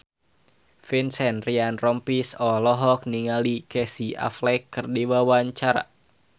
Vincent Ryan Rompies olohok ningali Casey Affleck keur diwawancara